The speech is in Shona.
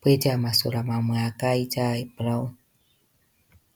poita masora mamwe akaita ebhurawuni